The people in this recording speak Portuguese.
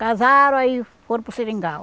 Casaram aí foram para o seringal.